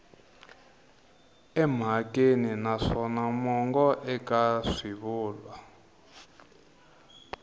emhakeni naswona mongo eka swivulwa